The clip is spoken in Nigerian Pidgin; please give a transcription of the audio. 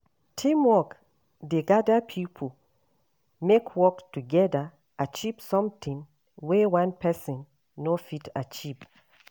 Teamwork dey gather pipo make work togeda achieve sometin wey one pesin no fit achieve.